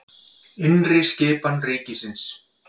Innri skipan ríkisins